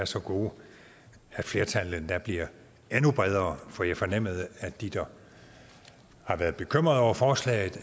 så gode at flertallet endda bliver endnu bredere for jeg fornemmede at de der har været bekymret over forslaget